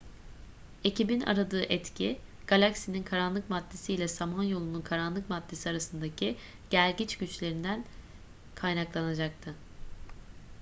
ekibin aradığı etki galaksinin karanlık maddesi ile samanyolu'nun karanlık maddesi arasındaki gelgit güçlerinden kaynaklanacaktı